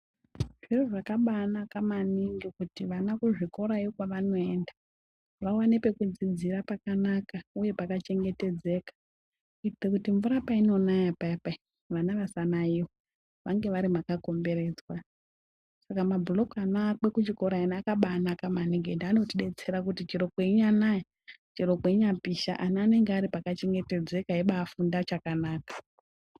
Zviro zvakaba anaka maningi kuti vana kuzvikorayo kwevanoenda vaone pekudziidzira pakanaka uye pakachengetedzeka kuitire kuti mvura painonaya payapaya vana vasanaiwa vange varimakakomboredzwa, saka mablock ano akwe kuchikora aya akaba anaka maningi ende anotidetsera kuti chero kweina naya chero kweinya pisha ana anenge ari pakachengetedzeka eiba afunda chakanaka.